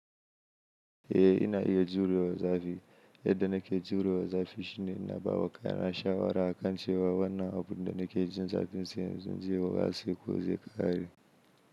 Eh ina iya jurewa zafi. Yadda nake jurewa zafi shine ina ba wa kaina shawara akan cewa wannan abu da na ke jin zafi sai in ce na jurewa ce ko zai ƙare.